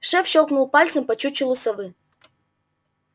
шеф щёлкнул пальцем по чучелу совы